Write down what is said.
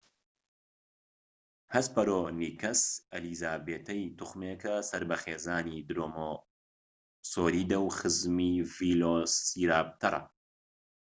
هەسپەرۆنیکەس ئەلیزابێتەی توخمێکە سەر بە خێزانی درۆماسۆریدە و خزمی ڤیلۆسیراپتەرە